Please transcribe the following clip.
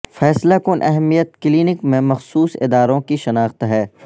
فیصلہ کن اہمیت کلینک میں مخصوص اداروں کی شناخت ہے